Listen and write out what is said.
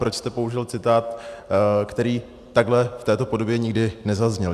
Proč jste použil citát, který takhle, v této podobě nikdy nezazněl?